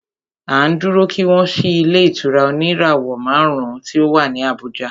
À ń dúró kí wọ́n ṣí ilé ìtura oníràwọ̀ márùn ùn tí o wá ní Abùjá.